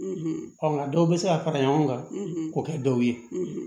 Ɔ nka dɔw bɛ se ka fara ɲɔgɔn kan k'o kɛ dɔw ye